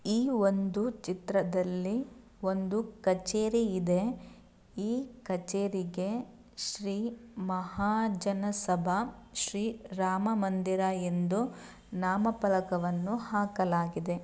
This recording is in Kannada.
ಈ ಒಂದು ಚಿತ್ರದಲ್ಲಿ ಒಂದು ಕಛೇರಿ ಇದೆ ಈ ಕಛೇರಿಗೆ ಶ್ರೀ ಮಹಾಜನ ಸಭಾ ಶ್ರೀ ರಾಮಮಂದಿರ ಎಂದು ನಾಮಫಲಕವನ್ನು ಹಾಕಲಾಗಿದೆ.